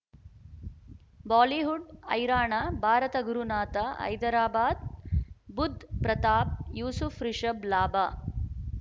Bollywood ಹೈರಾಣ ಭಾರತ ಗುರುನಾಥ ಹೈದರಾಬಾದ್ ಬುಧ್ ಪ್ರತಾಪ್ ಯೂಸುಫ್ ರಿಷಬ್ ಲಾಭ